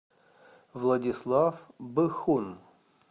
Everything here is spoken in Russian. владислав быхун